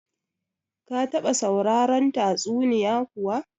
Ka taba sauraron tatsuniya kuwa?